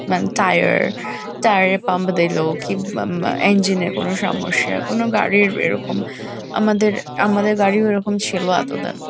মানে tyre tyre -এ pump দিলো কি বা বা ইঞ্জিন -এ কোনো সমস্যা কোনো গাড়ির এরকম আমাদের আমাদের গাড়িও এরকম ছিল এতো দিন।